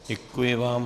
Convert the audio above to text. Děkuji vám.